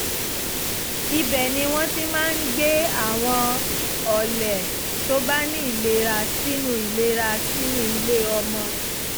ibẹ̀ ni wọ́n ti máa ń gbé àwọn ọlẹ̀ tó bá ní ìlera sínú ìlera sínú ilé ọmọ